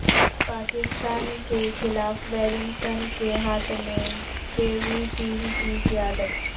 پاکستان کے خلاف ولیمسن کے ہاتھ میں کیوی ٹیم کی قیادت